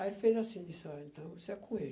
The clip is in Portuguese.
Aí ele fez assim, disse, ó, então, isso é com ele.